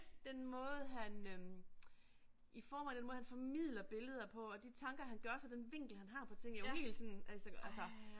Den måde han øh i forhold den måde han formidler billeder på og de tanker han gør sig den vinkel han har på ting, jeg var helt sådan altså altså